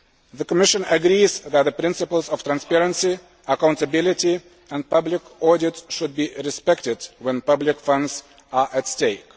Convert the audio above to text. The Commission agrees that the principles of transparency, accountability and public audit should be respected when public funds are at